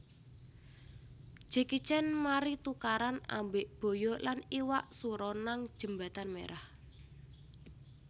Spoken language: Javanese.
Jackie Chan mari tukaran ambek boyo lan iwak suro nang jembatan Merah